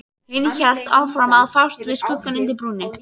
Hinn hélt áfram að fást við skuggann undir brúnni.